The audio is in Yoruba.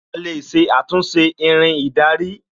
A lè ṣe àtúnṣe Irin ìdarí